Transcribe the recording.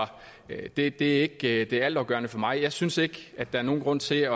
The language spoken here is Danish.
det ikke det altafgørende for mig jeg synes ikke at der er nogen grund til